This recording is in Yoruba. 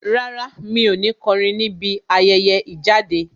Rárá, mi ò ní kọrin níbi ayẹyẹ ìjáde.